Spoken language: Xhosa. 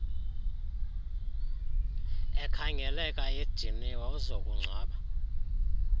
ekhangeleka ediniwe uzokungcwaba